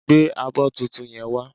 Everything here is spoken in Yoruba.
Gbé abọ́ tuntun yen wá